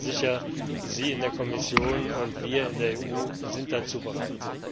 Ich bin sicher, Sie in der Kommission und wir in der EU sind dazu bereit.